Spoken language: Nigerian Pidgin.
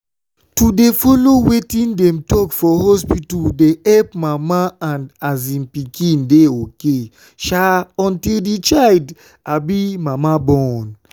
to dey follow wetin dem talk for hospita dey epp mama and um pikin dey ok um until d um mama born.